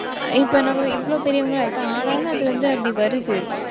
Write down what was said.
இப்ப நம்ம இவ்வளவு பெரியவங்களா ஆயிட்டோம். ஆனாலும், அது வந்து அப்படி வருது.